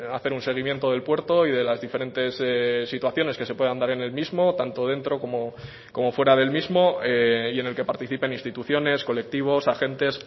hacer un seguimiento del puerto y de las diferentes situaciones que se puedan dar en el mismo tanto dentro como fuera del mismo y en el que participen instituciones colectivos agentes